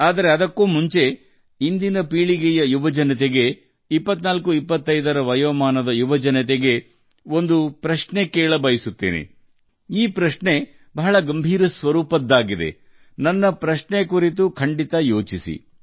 ಆದರೆ ಅದಕ್ಕೂ ಮುನ್ನ ನಾನು ಇಂದಿನ ಪೀಳಿಗೆಯ ಯುವಕರಿಗೆ 2425 ವರ್ಷ ವಯಸ್ಸಿನ ಯುವಕರಿಗೆ ಒಂದು ಪ್ರಶ್ನೆಯನ್ನು ಕೇಳಲು ಬಯಸುತ್ತೇನೆ ಮತ್ತು ಪ್ರಶ್ನೆ ತುಂಬಾ ಗಂಭೀರವಾಗಿದೆ ನನ್ನ ಪ್ರಶ್ನೆಯ ಬಗ್ಗೆ ವಿಚಾರ ಮಾಡಿ